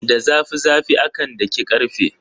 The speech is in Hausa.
Da zafi zafi akan daki karfe.